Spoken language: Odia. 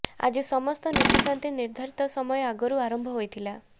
ଆଜି ସମସ୍ତ ନୀତିକାନ୍ତି ନିର୍ଦ୍ଧାରିତ ସମୟ ଆଗରୁ ଆରମ୍ଭ ହୋଇଥିଲା